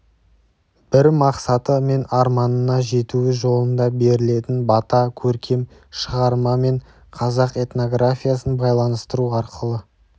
бір мақсаты мен арманына жетуі жолында берілетін бата көркем шығарма мен қазақ этнографиясын байланыстыру арқылы